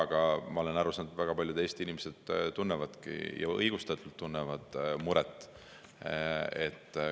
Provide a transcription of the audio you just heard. Aga ma olen aru saanud, et väga paljud Eesti inimesed tunnevadki muret – ja õigustatult tunnevad.